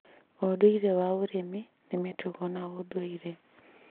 ũndũire wa ũrĩmi nĩ mĩtugo na ũndũire